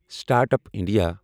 start up India